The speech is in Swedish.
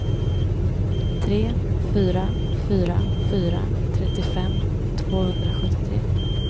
tre fyra fyra fyra trettiofem tvåhundrasjuttiotre